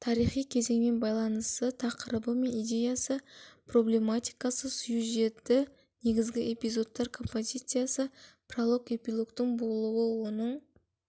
тарихи кезеңмен байланысы тақырыбы мен идеясы проблематикасы сюжеті негізгі эпизодтар композициясы пролог эпилогтың болуы оның